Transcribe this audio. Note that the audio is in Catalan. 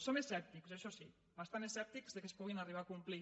som escèptics això sí bastant escèptics que es puguin arribar a complir